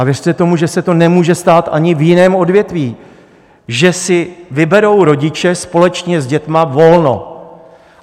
A věřte tomu, že se to nemůže stát ani v jiném odvětví, že si vyberou rodiče společně s dětmi volno.